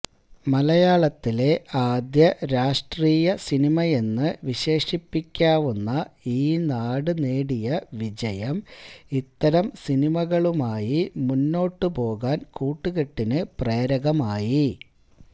മലയാളത്തിലെ ആദ്യരാഷ്ട്രീയ സിനിമയെന്ന് വിശേഷിപ്പിയ്ക്കാവുന്ന ഈനാട് നേടിയ വിജയം ഇത്തരം സിനിമകളുമായി മുന്നോട്ടു പോകാന് കൂട്ടുകെട്ടിന് പ്രേരകമായി